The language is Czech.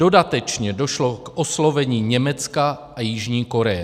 Dodatečně došlo k oslovení Německa a Jižní Koreje.